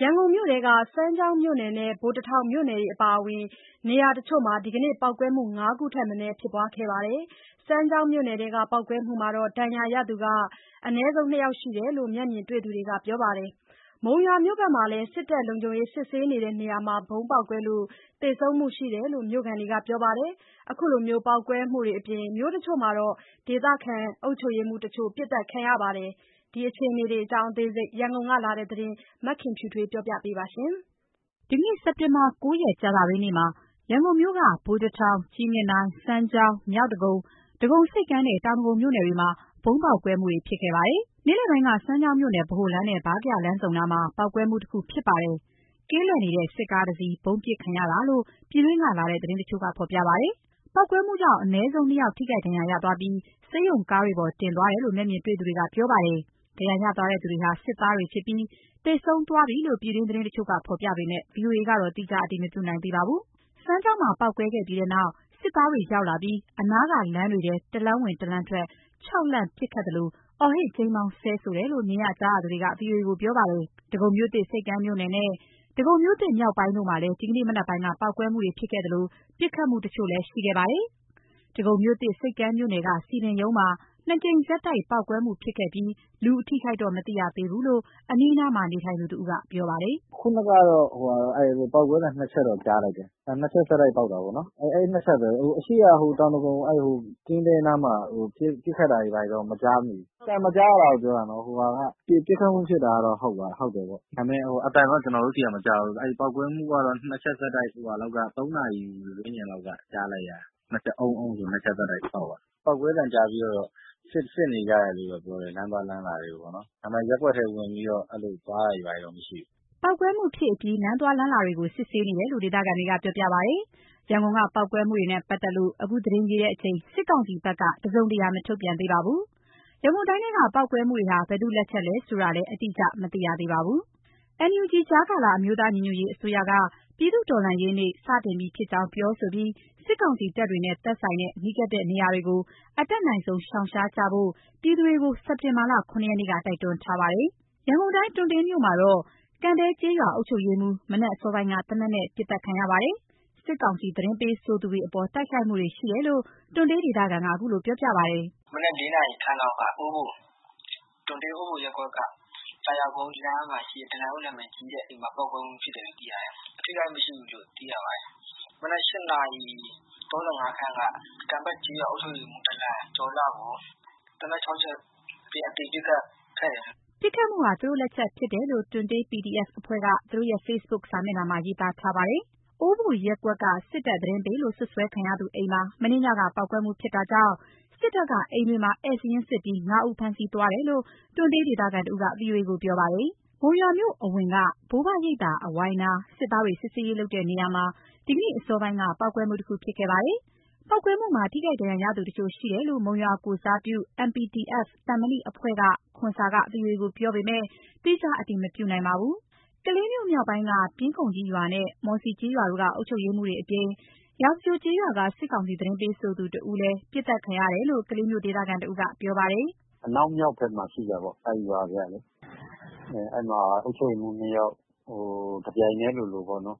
ရန်ကုန်မြို့ထဲက စမ်းချောင်းမြို့နယ်နဲ့ ဗိုလ်တထောင်မြို့နယ်တွေအပါအဝင် နေရာတချို့မှာ ပေါက်ကွဲမှု ၅ ခုထက်မနည်းဖြစ်ခဲ့ပါတယ်။ စမ်းချောင်းမြို့နယ်ထဲက ပေါက်ကွဲမှုမှာ ဒဏ်ရာရသူ နှစ်ယောက် အနည်းဆုံးရှိတယ်လို့ မျက်မြင်တေ့ွသူတွေက ပြောပါတယ်။ မုံရွာမြို့မှာလည်း စစ်တပ် လုံခြုံရေးစစ်ဆေးနေတဲ့ နေရာမှာ ဗုံးပေါက်လို့ သေဆုံးမှုရှိတယ်လို့ မြို့ခံတွေကပြောပါတယ်။ ခုလို ပေါက်ကွဲမှုတွေအပြင် မြို့တချို့မှာ ဒေသခံအုပ်ချုပ်ရေးမှူးတချို့ ပစ်သတ်ခံရပါတယ်။ ဒီအခြေအနေတွေအကြောင်း ရန်ကုန်ကလာတဲ့ သတင်းကို မခင်ဖြူထွေး က ပြောပြပါမယ်။ ဒီနေ့ စက်တင်ဘာ ၉ ရက် ကြာသပတေးနေ့မှာ ရန်ကုန်မြို့က ဗိုလ်တထောင်၊ ကြည့်မြင်တိုင်၊ စမ်းချောင်း၊ မြောက်ဒဂုံ၊ ဒဂုံဆိပ်ကမ်းနဲ့ တောင်ဒဂုံမြို့နယ်တွေမှာ ဗုံးပေါက်ကွဲမှုတွေဖြစ်ခဲ့ပါတယ်။ နေ့လည်ပိုင်းက စမ်းချောင်းမြို့နယ် ဗဟိုလမ်းနဲ့ ဗားကရာလမ်းဆုံနားမှာ ပေါက်ကွဲမှုတခုဖြစ်ပါတယ်။ ကင်းလှည့်နေတဲ့ စစ်ကားတစ်စီး ဗုံးပစ်ခံရတာလို့ ပြည်တွင်းကလာတဲ့သတင်းတချို့က ဖော်ပြပါတယ်။ ပေါက်ကွဲမှုကြောင့် အနည်းဆုံး ၂ ယောက် ထိခိုက်ဒဏ်ရာရသွားပြီး ဆေးရုံကားတွေပေါ် တင်သွားတယ်လို့ မျက်မြင်တေ့ွသူတွေက ပြောပြပါတယ်။ ဒဏ်ရာရသွားသူတွေဟာ စစ်သားတွေဖြစ်ပြီး သေဆုံးသွားပြီလို့ ပြည်တွင်းသတင်းတချို့က ဖော်ပြပေမဲ့ ဗီအိုအေကတော့ သီးခြားအတည် မပြုနိုင်သေးပါဘူး။ စမ်းချောင်းမှာ ဗုံးပေါက်ကွဲပြီးတဲ့နောက် စစ်သားတွေရောက်လာပြီး အနားကလမ်းတွေထဲ တလမ်းဝင် တလမ်းထွက် ခြောက်လှန့် ပစ်ခတ်သလို အော်ဟစ်ကြိမ်းမောင်း ဆဲဆိုတယ်လို့ မြင်ရ ကြားရသူက ဗွီအိုအေကို ပြောပြပါတယ်။ ဒဂုံမြို့သစ် ဆိပ်ကမ်းမြို့နယ်နဲ့ ဒဂုံမြို့သစ်မြောက်ပိုင်းတို့မှာ ဒီကနေ့ မနက်ပိုင်းက ပေါက်ကွဲမှုတွေ ဖြစ်ခဲ့သလို ပစ်ခတ်မှုတချို့လည်း ရှိခဲ့ပါတယ်။ ဒဂုံမြို့သစ် ဆိပ်ကမ်းမြို့နယ်က စည်ပင်ရုံးမှာ နှစ်ကြိမ်ဆက်တိုက်ပေါက်ကွဲမှုဖြစ်ပွားပြီး လူအထိအခိုက်တော့ မသိရသေးဘူးလို့ အနီးအနားမှာ နေထိုင်သူတဦးက ပြောပါတယ်။ “ခုနကတော့ ပေါက်ကွဲသံနှစ်ချက်တော့ ကြားလိုက်တယ် နှစ်ချက်ဆက်တိုက်ပေါက်တာပေါ့နော်၊ အဲ့နှစ်ချက်ပဲ ဟိုအရှေ့က ဟိုတောင်ဒဂုံ အဲ့ဟိုကင်းသဲအနားမှာ ပစ်ခတ်တာဘာတွေတော့ မကြားမိဘူး။ အသံမကြားရတာကို ပြောတာနော်၊ ပစ်ခတ်မှုဖြစ်တာက ဟုတ်တယ်ပေါ့ ဒါပေမယ့် အသံတော့ ကျနော်တို့ဆီကမကြားဘူး၊ အဲ့ပေါက်ကွဲမှုကတော့ နှစ်ချက်ဆက်တိုက် ဟိုဟာလောက်က ၃ နာရီဝန်း ကျင်လောက်က ကြားလိုက်ရတယ် အုန်းအုန်းဆိုပြီး နှစ်ချက်ဆက်တိုက်ပေါက်သွားတယ်၊ ပေါက်ကွဲသံ ကြားပြီးတော့ စစ်နေကြတယ်လို့တော့ ပြောတယ် လမ်းသွားလမ်းလာတွေကိုပေါ့နော် ဒါပေမယ့် ရပ်ကွက်ထဲဝင်ပြီးတော့ အဲ့လိုသွားတာတွေဘာတွေမရှိဘူး။” ပေါက်ကွဲမှုဖြစ်အပြီး လမ်းသွားလမ်းလာတွေကို စစ်ဆေးနေတယ်လို့လည်း ဒေသခံတွေက ပြောပြပါတယ်။ ရန်ကုန်က ပေါက်ကွဲမှုတွေနဲ့ ပတ်သက်လို့ အခုသတင်းရေးချိန် စစ်ကောင်စီဘက်က တစုံတရာ မထုတ်ပြန်သေးပါဘူး။ ရန်ကုန်တိုင်းထဲက ပေါက်ကွဲမှုတွေဟာ ဘယ်သူ့လက်ချက်လဲဆိုတာလည်း အတိအကျ မသိရသေးပါဘူး။ NUG ကြားကာလ အမျိုးသားညီညွတ်ရေးအစိုးရက ပြည်သူ့တော်လှန်ရေးနေ့ စတင်ပြီဖြစ်ကြောင်း ပြောဆိုပြီး စစ်ကောင်စီတပ်တွေနဲ့ သက်ဆိုင်တဲ့ နီးကပ်တဲ့ နေရာတွေကို အတတ်နိုင်ဆုံး ရှောင်ရှားကြဖို့ ပြည်သူတွေကို စက်တင်ဘာ ၇ ရက်နေ့က တိုက်တွန်းထားပါတယ်။ ရန်ကုန်တိုင်း တွံတေးမြို့မှာတော့ ကံဘဲကျေးရွာ အုပ်ချုပ်ရေးမှူး မနက်အစောပိုင်းက သေနတ်နဲ့ ပစ်သတ်ခံခဲ့ရပါတယ်။ စစ်ကောင်စီ သတင်းပေးဆိုသူတွေအပေါ် တိုက်ခိုက်မှုတွေရှိတယ်လို့ တွံတေးဒေသခံက ခုလိုပြောပြပါတယ်။ “မနက် ၄ နာရီလောက်က တွံတေး အိုဘိုရပ်ကွက်က သာယာကုန်းရပ်ကွက်က ဒလန်လို့ နာမည်ကြီးနေ တဲ့ သူရဲ့ အိမ်မှာ ပေါက်ကွဲမှုဖြစ်တယ်။ အထိအခိုက်မရှိဘူးလို့ သိရပါတယ်။ မနက် ၈ နာရီ ၄၅ လောက်က ကံဘဲ့ကျေးရွာ အုပ်ချုပ်ရေးမှုး ဒလန်ကျော်လှကို သေနတ်နဲ့ ၆ ချက် အသေပစ်ခတ်ခဲ့တယ်ပေါ့။” ပစ်ခတ်မှုဟာ သူတို့လက်ချက်ဖြစ်တယ်လို့ တွံတေး PDF အဖွဲ့က သူတို့ရဲ့ Facebook စာမျက်နှာမှာ ရေးသားထားပါတယ်။ အိုးဘိုရပ်ကွက်က စစ်တပ်သတင်းပေးလို့ စွပ်စွဲခံရသူအိမ်မှာ မနေ့ညက ပေါက်ကွဲမှုဖြစ်တာကြောင့် စစ်တပ်က အိမ်တွေမှာ ဧည့်စာရင်းစစ်ပြီး ၅ ဦးကို ဖမ်းဆီးသွားတယ်လို့ တွံတေးဒေသခံတဦးက VOA ကိုပြောပြပါတယ်။ မုံရွာမြို့မှာလည်း မုံရွာမြို့အဝင်က ဘိုးဘွားရိပ်သာ အဝိုင်းနား စစ်သားတွေ စစ်ဆေးရေးလုပ်တဲ့ နေရာမှာ ဒီနေ့အစောပိုင်းက ပေါက်ကွဲမှုတခု ဖြစ်ခဲ့ပါတယ်။ ပေါက်ကွဲမှုမှာ ထိခိုက်ဒဏ်ရာရသူတချို့ရှိတယ်လို့ မုံရွာကိုယ်စားပြု MPDF - သံမဏိအဖွဲ့က ခွန်ဆာက VOA ကိုပြောပေမယ့် သီးခြားအတည်မပြနိုင်ပါဘူး။ ကလေးမြို့မြောက်ပိုင်းက ပျဉ်းခုံကြီးရွာနဲ့ မောစီကျေးရွာတို့က အုပ်ချုပ်ရေးမှူးတွေအပြင် ရာဇဂြိုလ်ကျေးရွာက စစ်ကောင်စီသတင်းပေးဆိုသူ တဦးတို့လည်း ပစ်သတ်ခံရတယ်လို့ ကလေးမြို့ ဒေသခံတဦးက ပြောပါတယ်။ “အနောက်မြောက်ဘက်မှာ ရှိတာပေါ့၊ အဲ့ဒီရွာတွေကလေ။ အဲ့မှာ အုပ်ချုပ်ရေးမှုး ၂ ယောက် တစ်ပြိုင်တည်းလိုလိုပဲ ဘယ်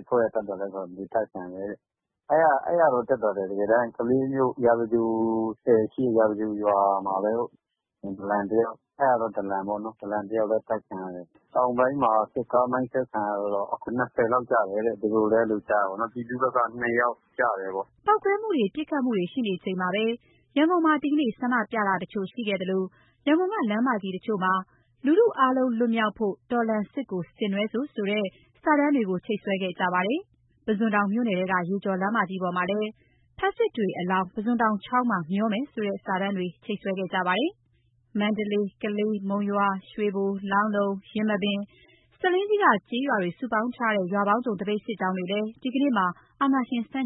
အဖွဲ့ကမှန်းမသိဘဲ သတ်ခံရတယ်။ အဲ့တာက သတ်သတ်ပေါ့။ နောက်ထပ်က ကလေးမြို့ ရာဇဂြိုလ်ဆည်ရှေ့က ရာဇဂြိုလ်ရွာမှာ ဒီမနက် ဒလန်တစ်ယောက် သတ်ခံရတယ်။ တောင်ပိုင်းမှာ စစ်ကား မိုင်းဆွဲခံရတာကတော့ ၂၀ လောက်ကျတယ်တဲ့ ပြည်သူဘက်က ၂ ယောက်ကျတယ်။” ပေါက်ကွဲမှုတွေ ပစ်ခတ်မှုတွေရှိနေချိန်မှာပဲ ရန်ကုန်မှာ ဒီကနေ့ ဆန္ဒပြမှုတချို့ ရှိခဲ့သလို ရန်ကုန်က လမ်းမကြီး တချို့မှာ ‘လူထုအားလုံးလွတ်မြောက်ဖို့ တော်လှန်စစ်ကို ဆင်နွှဲစို့’ ဆိုတဲ့ စာတန်းတွေချိတ်ဆွဲခဲ့ကြပါတယ်။ ပုဇွန်တောင်မြို့နယ်ထဲက ရေကျော်လမ်းမကြီးပေါ်မှာလည်း ‘ဖက်ဆစ်တွေအလောင်း ပုဇွန်တောင်ချောင်းမှာ မျှောမယ်’ ဆိုတဲ့ စာတန်းတွေ ချိတ်ဆွဲခဲ့ကြပါတယ်။ မန္တလေး၊ ကလေး၊ မုံရွာ၊ ရွှေဘို၊ လောင်းလုံ၊ ယင်းမာပင်နဲ့ ဆားလင်းကြီးက ကျေးရွာတွေ စုပေါင်းထားတဲ့ ရွာပေါင်းစုံသပိတ်စစ်ကြောင်းတွေကလည်း ဒီကနေ့မှာ စစ်အာဏာရှင် ဆန့်